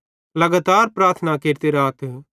लगातार प्रार्थना केरते राथ